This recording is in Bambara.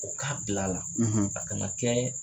O k'a bila a la a kana kɛ